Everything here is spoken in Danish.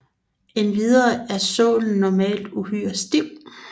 Endvidere er sålen normalt uhyre stiv